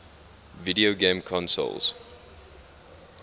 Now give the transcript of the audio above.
video game consoles